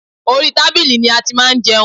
Orí tábìlì ni a ti máa ń jẹun